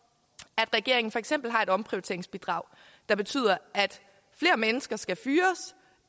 at regeringen for eksempel har et omprioriteringsbidrag der betyder at flere mennesker skal fyres